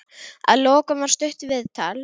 Að lokum var stutt viðtal.